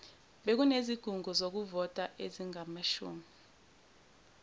bekunezikhungo zokuvota ezingamashumi